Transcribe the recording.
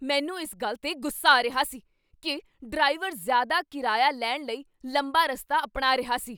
ਮੈਨੂੰ ਇਸ ਗੱਲ 'ਤੇ ਗੁੱਸਾ ਆ ਰਿਹਾ ਸੀ ਕੀ ਡਰਾਈਵਰ ਜ਼ਿਆਦਾ ਕਿਰਾਇਆ ਲੈਣ ਲਈ ਲੰਬਾ ਰਸਤਾ ਅਪਣਾ ਰਿਹਾ ਸੀ।